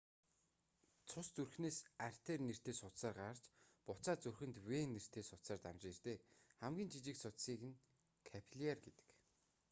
цус зүрхнээс артер нэртэй судсаар гарч буцаад зүрхэнд вен нэртэй судсаар дамжин ирдэг хамгийн жижиг судсыг нь капилляр гэдэг